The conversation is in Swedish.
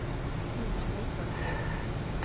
Inger Nyström